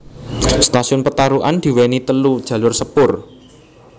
Stasiun Petarukan diweni telu jalur sepur